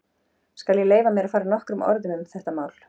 Skal ég leyfa mér að fara nokkrum orðum um þetta mál.